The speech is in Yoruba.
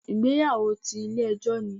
Ìgbéyàwó ti Ilé ejó ni